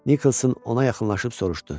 Niklson ona yaxınlaşıb soruşdu: